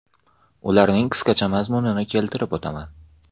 Ularning qisqacha mazmunini keltirib o‘taman.